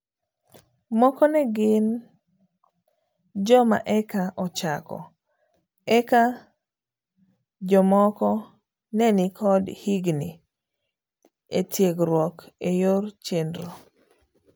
Moko negin joma eka ochako, eka jomoko nenikod higni etigruok eyor chenro,